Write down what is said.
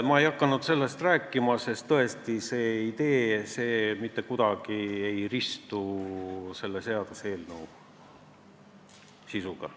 Ma ei hakanud sellest rääkima, sest tõesti see idee mitte kuidagi ei haaku selle seaduseelnõu sisuga.